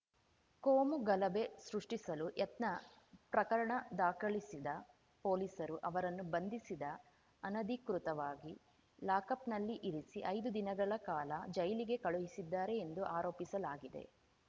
ಕೋಮು ಗಲಭೆ ಸೃಷ್ಟಿಸಲು ಯತ್ನ ಪ್ರಕರಣ ದಾಖಲಿಸಿದ ಪೊಲೀಸರು ಅವರನ್ನು ಬಂಧಿಸಿದ ಅನಧಿಕೃತವಾಗಿ ಲಾಕಪ್‌ನಲ್ಲಿ ಇರಿಸಿ ಐದು ದಿನಗಳ ಕಾಲ ಜೈಲಿಗೆ ಕಳುಹಿಸಿದ್ದಾರೆ ಎಂದು ಆರೋಪಿಸಲಾಗಿದೆ